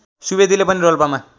सुवेदीले पनि रोल्पामा